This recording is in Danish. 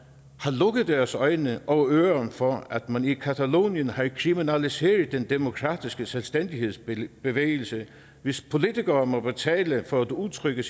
lukket deres øjne og ører for at man i catalonien har kriminaliseret den demokratiske selvstændighedsbevægelse hvis politikere må betale for at udtrykke